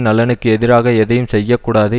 நலனுக்கு எதிராக எதையும் செய்ய கூடாது